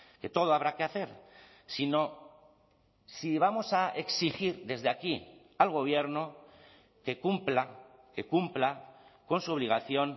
que todo habrá que hacer si no si vamos a exigir desde aquí al gobierno que cumpla que cumpla con su obligación